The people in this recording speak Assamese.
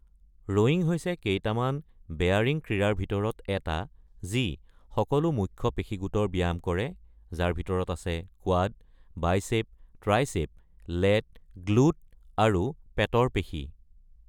ৰোয়িং হৈছে কেইটামান বেয়াৰিং ক্ৰীড়াৰ ভিতৰত এটা যি সকলো মুখ্য পেশী গোটৰ ব্যায়াম কৰে, যাৰ ভিতৰত আছে quad, biceps, triceps, lat, glute আৰু পেটৰ পেশী।